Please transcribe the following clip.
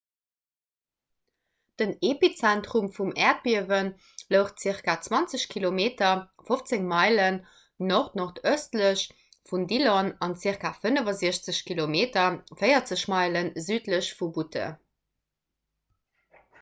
den epizentrum vum äerdbiewe louch zirka 20 km 15 meilen nord-nordëstlech vun dillon an zirka 65 km 40 meile südlech vu butte